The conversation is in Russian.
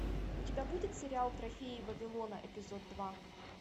у тебя будет сериал трофеи вавилона эпизод два